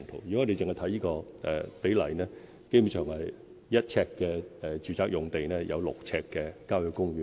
如果我們只看這個比例，基本上每1呎住宅用地就有6呎郊野公園。